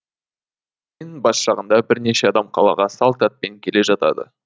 бас жағында бірнеше адам қалаға салт атпен келе жатады